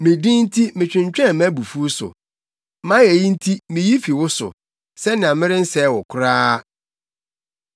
Me din nti metwentwɛn mʼabufuw so; mʼayeyi nti miyi fi wo so, sɛnea merensɛe wo koraa.